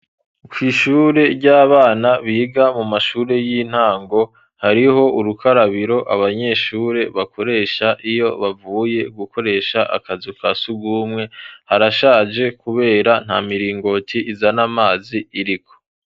Kwishure ry'abana biga mu mashuri y'intango hariho urukarabiro abanyeshure bakoresha iyo bavuye gukoresha akazu kasugumwe .Harashaje kubera nta miringoti iza n amazi iriko.